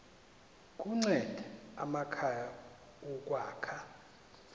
kunceda amakhaya ukwakha